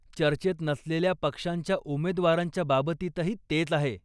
चर्चेत नसलेल्या पक्षांच्या उमेदवारांच्या बाबतीतही तेच आहे.